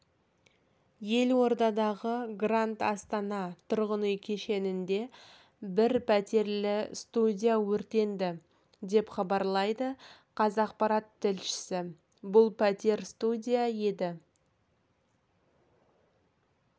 елордадағы гранд астана тұрғын үй кешенінде бір пәтерлі-студия өртенді деп хабарлайды қазақпарат тілшісі бұл пәтер-студия еді